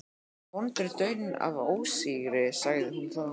Hér er vondur daunn af ósigri, sagði hún þá.